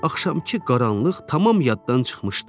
Axşamkı qaranlıq tamam yaddan çıxmışdı.